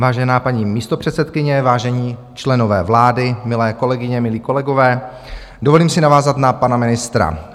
Vážená paní místopředsedkyně, vážení členové vlády, milé kolegyně, milí kolegové, dovolím si navázat na pana ministra.